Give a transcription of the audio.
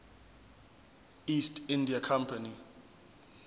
east india company